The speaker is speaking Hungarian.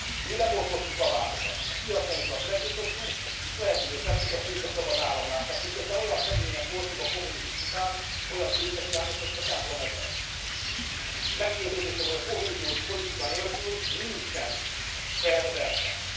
Mi lebontottuk a vámokat, a piacainkat megnyitottuk és lehetővé tettük a tőke szabad áramlását, miközben olyan szegények voltunk a kommunizmus után, olyan tőkehiányosak, mint a templom egere. Meggyőződésem, hogy a kohéziós politika nélkül nincsen fair verseny.